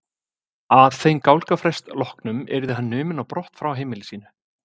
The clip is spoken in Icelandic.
Að þeim gálgafrest loknum yrði hann numinn á brott frá heimili sínu.